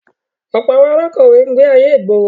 Ọ̀pọ̀ àwọn alákọ̀wé ń gbé ayé ìgboro.